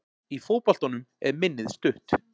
Í fótboltanum er minnið stutt.